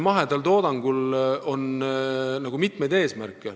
Mahedal toodangul on mitmeid eesmärke.